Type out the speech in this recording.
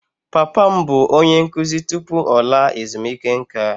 Papa m bụ onye nkụzi tupu ọ laa ezumike nká.